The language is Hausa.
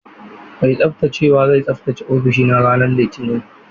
Mai tsaftacewa zai tsaftace ofishina ranar Litinin.